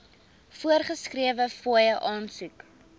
voorgeskrewe fooie aansoek